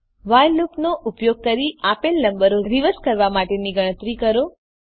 while લૂપનો ઉપયોગ કરી આપેલ નંબરને રિવર્સ કરવા માટેની ગણતરી કરો